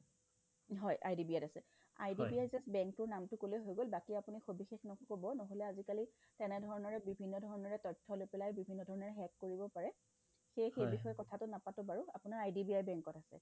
হয়্, IDBI ত আছে IDBI just bank টোৰ নামটো ক'লে হৈ গ'ল বাকী আপুনি সবিশেষ নক'ব নহ'লে আজিকালি তেনেধৰণেৰে বিভিন্নধৰণেৰে তথ্য লৈ পেলাই বিভিন্নধৰণেৰে hack কৰিব পাৰে সেয়ে সেই বিষয়ে কথাটো নাপাটো বাৰু আপোনাৰ IDBI bank ত এ আছে